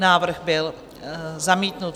Návrh byl zamítnut.